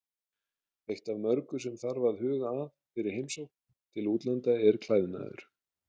Eitt af mörgu sem þarf að huga að fyrir heimsókn til útlanda er klæðnaður.